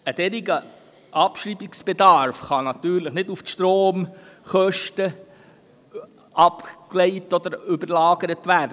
Ein solcher Abschreibungsbedarf kann natürlich nicht auf die Stromkosten umgelagert werden.